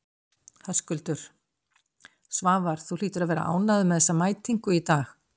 Höskuldur: Svavar, þú hlýtur að vera ánægður með þessa mætingu í dag?